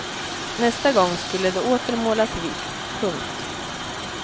Nästa gång skulle det åter målas vitt. punkt